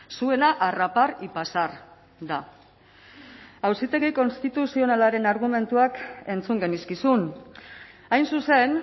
zuena arrapar y pasar da auzitegi konstituzionalaren argumentuak entzun genizkizun hain zuzen